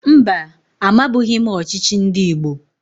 Mba, amabughi m ọchịchị ndị Igbo